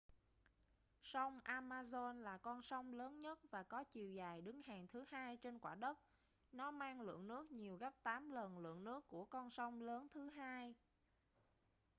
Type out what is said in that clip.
sông amazon là con sông lớn nhất và có chiều dài đứng hàng thứ hai trên quả đất nó mang lượng nước nhiều gấp 8 lần lượng nước của con sông lớn thứ hai